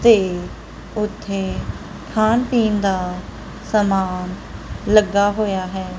ਤੇ ਉਥੇ ਖਾਣ ਪੀਣ ਦਾ ਸਮਾਨ ਲੱਗਾ ਹੋਇਆ ਹੈ।